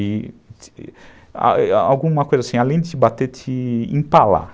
E... Alguma coisa assim, além de te bater, te empalar.